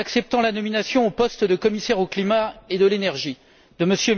En acceptant la nomination, au poste de commissaire au climat et à l'énergie, de M.